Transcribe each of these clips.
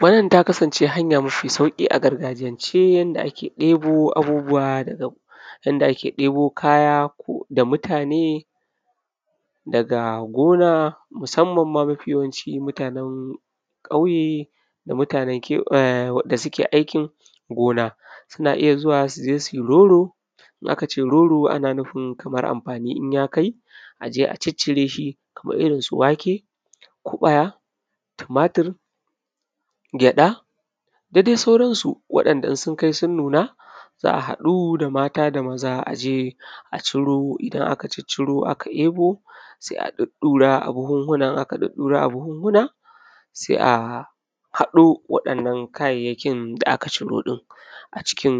wannan ta kasance hanya mafi sauƙi a gargajiyance yanda ake debo abubbuwa daga gon yanda ake debo kaya ko da mutane daga gona musamman ma mafi yawanci mutanen ƙauye da mutanen um da suke aikin gona suna iya zuwa su je su yi roro in aka ce roro ana nufin kamar amfani in ya kai a je a ciccire shi kamar irin su wake ko aya tumatir gyaɗa da dai sauran su waɗanda in sun kai sun nuna za a haɗu da mata da maza a je a ciro idan aka cicciro aka ebo sai a ɗuddura a buhuhuna in aka ɗuddura a buhuhuna sai a haɗo waɗannan kayayyakin da aka ciro ɗin a cikin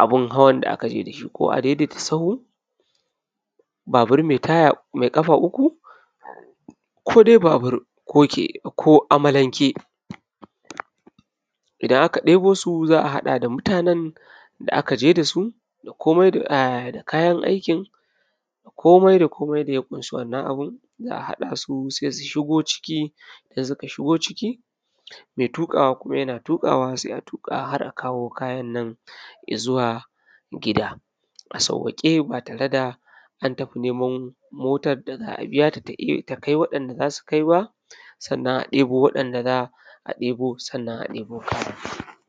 abin hawan da aka je da shi ko adaidaita sahu babur mai taya mai ƙafa uku ko dai babur ko keke ko amalanke idan aka debo su za a haɗa da mutanen da aka je da su da komai da um da kayan aikin da komai da komai da ya kunshi wannan abin za a haɗa su sai su shiga ciki idan suka shiga ciki mai tukawa kuma yana tukawa sai a tuka har a kawo kayan nan izuwa gida a saukake ba tare da an tafi neman motar da za a biya ta ta kai waɗanda za ta kai ba sannan a debo waɗanda za a debo sannan a debo kaya.